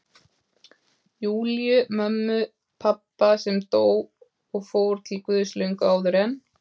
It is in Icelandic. Júlíu, mömmu pabba, sem dó og fór til Guðs löngu áður en